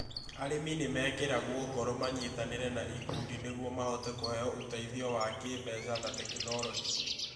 Arĩmi nĩ mekĩragwo ngoro manyitanĩre na ikundi nĩguo mahote kũheo ũteithio wa kĩĩmbeca na tekinolonjĩ.